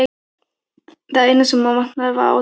Það eina sem hann vantaði var átylla.